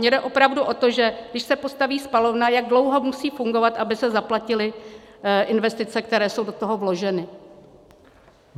Mně jde opravdu o to, že když se postaví spalovna, jak dlouho musí fungovat, aby se zaplatily investice, které jsou do toho vloženy.